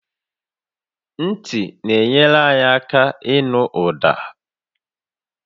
Ntị na-enyere anyị aka ịnụ ụda